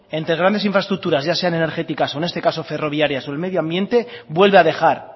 entre grandes infraestructuras ya sean energéticas o en este caso ferroviarias o el medio ambiente vuelve a dejar